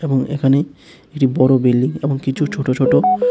এবং এখানে কিছু বড় বিল্ডিং এবং কিছু ছোট ছোট--